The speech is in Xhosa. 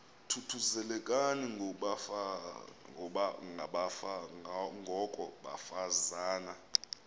thuthuzelekani ngoko bafazana